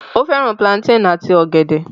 Ó fẹ́ràn plantain àti ọ̀gẹ̀dẹ̀